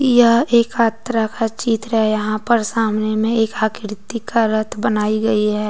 यह एक आत्रा का चित्र है यहां पर सामने में एक आकृति का रथ बनाई गई है।